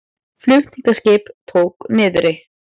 Flutningaskip tók niðri